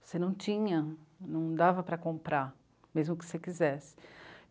Você não tinha, não dava para comprar, mesmo que você quisesse.